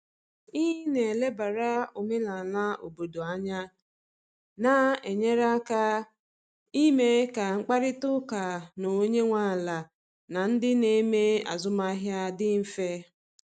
Ị na elebara omenala obodo anya na enyere aka ime ka mkparịta ụka na onye nwe ala na ndị na eme azụmahịa dị mfe.